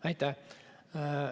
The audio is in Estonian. Aitäh!